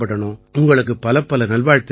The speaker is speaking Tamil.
உங்களுக்குப் பலப்பல நல்வாழ்த்துக்கள்